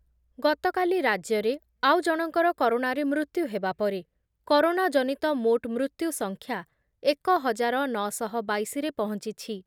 ଗତକାଲି ରାଜ୍ୟରେ ଆଉ ଜଣଙ୍କର କରୋନାରେ ମୃତ୍ୟୁ ହେବା ପରେ କରୋନା ଜନିତ ମୋଟ୍ ମୃତ୍ୟୁ ସଂଖ୍ୟା ଏକ ହଜାର ନ ଶହ ବାଇଶିରେ ପହଞ୍ଚିଛି